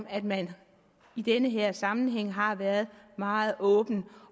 at man i den her sammenhæng har været meget åben